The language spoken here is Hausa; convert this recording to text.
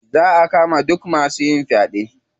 Za a kama duk masu yin faɗe.